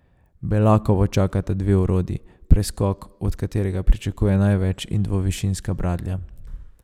Belakovo čakata dve orodji, preskok, od katerega pričakuje največ, in dvovišinska bradlja.